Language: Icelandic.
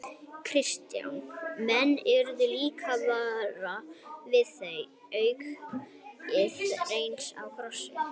Kristján: Menn urðu líka varir við það, aukið rennsli í Krossá?